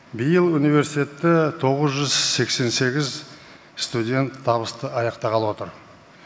биыл университетті тоғыз жүз сексен сегіз студент табысты аяқтағалы отыр